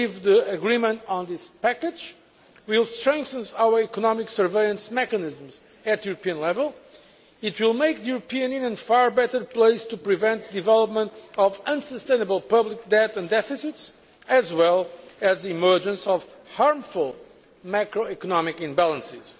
I believe the agreement on this package will strengthen our economic surveillance mechanisms at European level. It will make the European Union far better placed to prevent the development of unsustainable public debt and deficits, and the emergence of harmful macroeconomic imbalances.